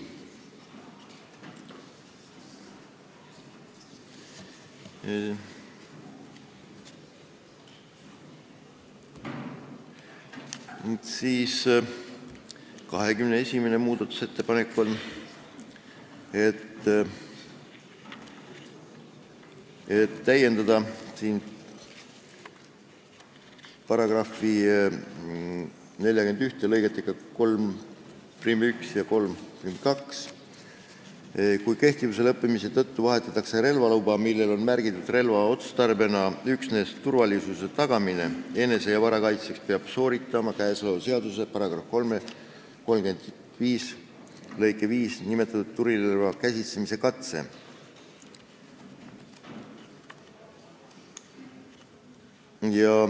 21. muudatusettepanek näeb ette täiendada § 41 lõigetega 31 ja 32: " Kui kehtivuse lõppemise tõttu vahetatakse relvaluba, millel on märgitud relva otstarbena üksnes turvalisuse tagamine , peab sooritama käesoleva seaduse § 35 lõikes 5 nimetatud tulirelva käsitsemise katse.